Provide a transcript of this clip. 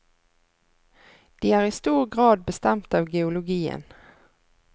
De er i stor grad bestemt av geologien.